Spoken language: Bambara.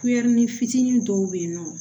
fitinin dɔw bɛ yen nɔ